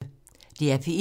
DR P1